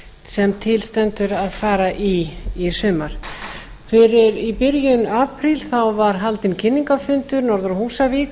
sem til stendur að fara í í sumar í byrjun apríl var haldinn kynningarfundur norður á